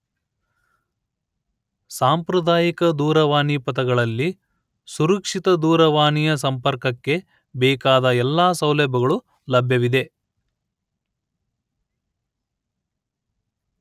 ಸಾಂಪ್ರದಾಯಿಕ ದೂರವಾಣಿ ಪಥಗಳಲ್ಲಿ ಸುರಕ್ಷಿತ ದೂರವಾಣಿಯ ಸಂಪರ್ಕಕ್ಕೆ ಬೇಕಾದ ಎಲ್ಲಾ ಸೌಲಭ್ಯಗಳು ಲಭ್ಯವಿದೆ